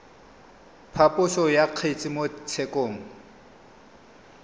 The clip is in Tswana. phaposo ya kgetse mo tshekong